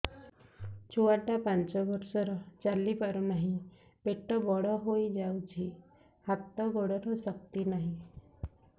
ଛୁଆଟା ପାଞ୍ଚ ବର୍ଷର ଚାଲି ପାରୁନାହଁ ପେଟ ବଡ ହୋଇ ଯାଉଛି ହାତ ଗୋଡ଼ର ଶକ୍ତି ନାହିଁ